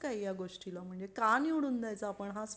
काय या गोष्टीला म्हणजे का निवडून द्यायचा आपण हाच